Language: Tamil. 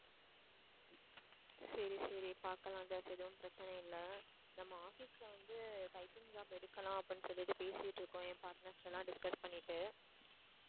சரி, சரி, பாக்கலாம் ஜாஸ் எதுவும் பிரச்சனை இல்லை நம்ம office ல வந்து typing job எடுக்கலாம் அப்படின்னு சொல்லிட்டு பேசிட்டு இருக்கோம் என் partners எல்லாம் பண்ணிட்டு